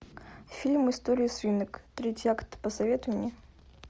фильм история свинок третий акт посоветуй мне